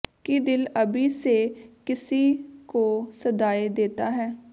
ਕਿ ਦਿਲ ਅਭੀ ਸੇ ਕਿਸੀ ਕੋ ਸਦਾਏਂ ਦੇਤਾ ਹੈ